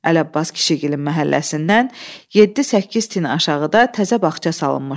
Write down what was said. Ələbbas kişiilin məhəlləsindən yeddi-səkkiz tin aşağıda təzə bağça salınmışdı.